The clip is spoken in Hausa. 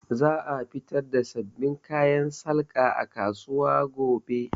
Za a fitar da sabbin kayan salga a kasuwa gobe